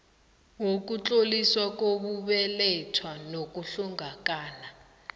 wokutloliswa kokubelethwa nokuhlongakala